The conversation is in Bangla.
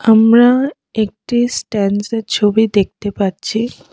আমরা একটি স্ট্যাড্যান্স -এর ছবি দেখতে পাচ্ছি।